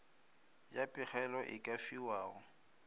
ya pegelo e ka fiwago